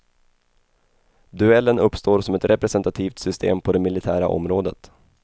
Duellen uppstår som ett representativt system på det militära området.